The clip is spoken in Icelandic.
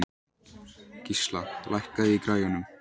Gísla, lækkaðu í græjunum.